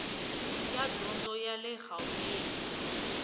ya dyondzo ya le gauteng